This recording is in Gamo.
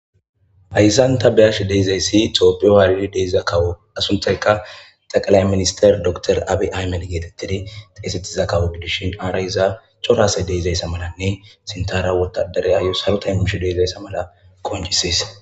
Haysan ta beyash deizayssi tooppiyo haalidi deeiza kawo asunthayka taqalay minister doktor abi ay mel geetettidi xeesettiza kawo gidishin aara iza corasay deizayssa malanne sintara wotadareayo saro taymmish deezayssa mala koncisees